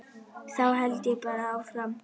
Þá held ég bara áfram.